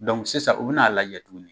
Dɔnku sisan, u bɛn'a lajɛ tuguni